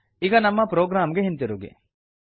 ಈಗ ನಮ್ಮ ಪ್ರೊಗ್ರಾಮ್ ಗೆ ಹಿಂತಿರುಗಿ